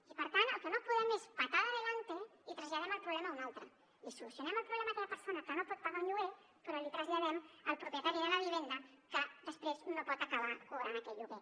i per tant el que no podem és patada adelante i traslladem el problema a un altre li solucionem el problema a aquella persona que no pot pagar el lloguer però l’hi traslladem al propietari de la vivenda que després no pot acabar cobrant aquell lloguer